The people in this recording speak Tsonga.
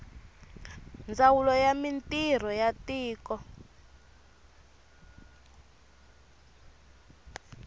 ndzawulo ya mintirho ya tiko